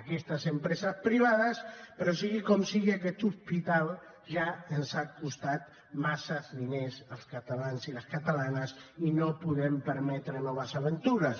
aquestes empreses privades però sigui com sigui aquest hospital ja ens ha costat massa diners als catalans i les catalanes i no podem permetre noves aventures